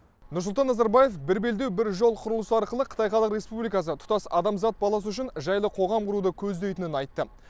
нұрсұлтан назарбаев бір белдеу бір жол құрылысы арқылы қытай халық республикасы тұтас адамзат баласы үшін жайлы қоғам құруды көздейтінін айтты